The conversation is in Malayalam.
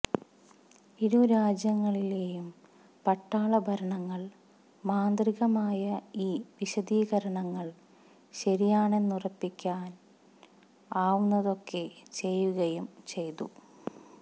ഇരുരാജ്യങ്ങളിലെയും പട്ടാളഭരണങ്ങൾ മാന്ത്രികമായ ഈ വിശദീകരണങ്ങൾ ശരിയാണെന്നുറപ്പിക്കാർ ആവുന്നതൊക്കെ ചെയ്യുകയും ചെയ്തു